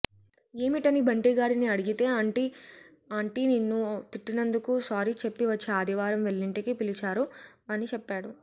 యేమిటని బంటీగాడిని అడిగితే ఆంటీ నిన్ను తిట్టినందుకు సారీ చెప్పి వచ్చే ఆదివారం వాళ్లింటికి పిలిచారు అని చెప్పాడు